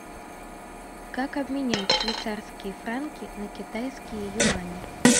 как обменять швейцарские франки на китайские юани